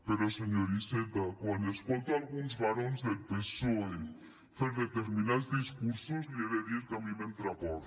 però senyor iceta quan escolto alguns barons del psoe fer determinats discursos li he de dir que a mi m’entra por